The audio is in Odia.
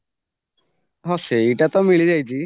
ହଁ ସେଇଟାତ ମିଳିଯାଇଛି